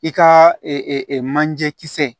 I ka manje kisɛ